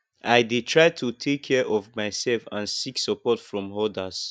i dey try to take care of myself and seek support from odas